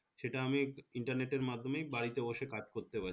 সেটা আমি internet এর মাধ্যমেই বাড়িতে বসে কাজ করতে পারছি